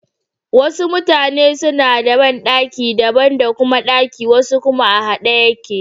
Wasu mutane suna da banɗaki daban da kuma ɗaki wasu kuma a haɗe yake.